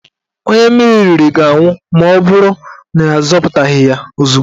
Onye mmiri riri ga-anwụ maọbụrụ na azọpụtaghị ya ozugbo